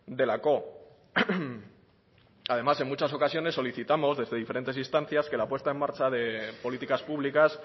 delako además en muchas ocasiones solicitamos desde diferentes instancias que la puesta en marcha de políticas públicas